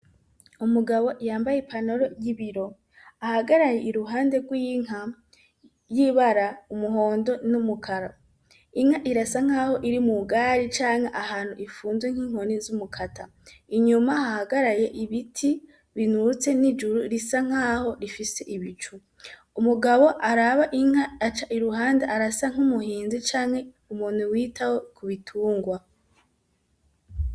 Umugabo yambaye i panaro ry'ibiro ahagaraye i ruhande rw'inka ryibara umuhondo n'umukara inka irasa nk'aho iri mu gari canke ahantu ifunzwe nk'inkoni z'umukata inyuma hahagaraye ibiti binutse n'ijuru risa nk'aho rifise ibicu umugabo araba inka aca iruhande arasa nk'umuhinzi canke umuntu witaho kubitungwa.